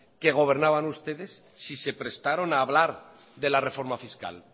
que gobernaban ustedes si se prestaron a hablar de la reforma fiscal